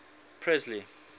presley